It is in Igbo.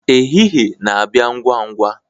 ehihie na-abịa ngwa ngwa